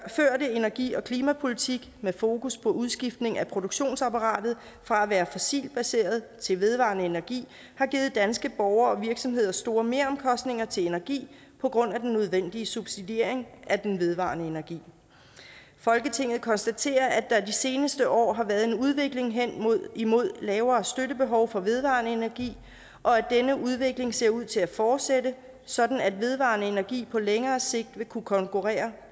energi og klimapolitik med fokus på udskiftning af produktionsapparatet fra at være fossilt baseret til vedvarende energi har givet danske borgere og virksomheder store meromkostninger til energi på grund af den nødvendige subsidiering af den vedvarende energi folketinget konstaterer at der de seneste år har været en udvikling hen imod lavere støttebehov for vedvarende energi og at denne udvikling ser ud til at fortsætte sådan at vedvarende energi på længere sigt vil kunne konkurrere